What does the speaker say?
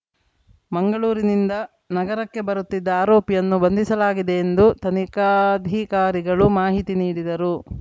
ಮಂಗಳೂರಿನಿಂದ ನಗರಕ್ಕೆ ಬರುತ್ತಿದ್ದ ಆರೋಪಿಯನ್ನು ಬಂಧಿಸಲಾಗಿದೆ ಎಂದು ತನಿಖಾಧಿಕಾರಿಗಳು ಮಾಹಿತಿ ನೀಡಿದರು